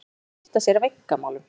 Hann er að skipta sér af einkamálum